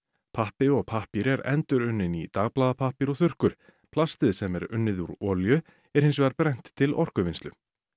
pappi og pappír er endurunninn í dagblaðapappír og þurrkur plastið sem er unnið úr olíu er hins vegar brennt til orkuvinnslu